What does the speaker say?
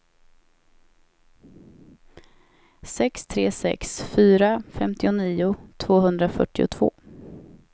sex tre sex fyra femtionio tvåhundrafyrtiotvå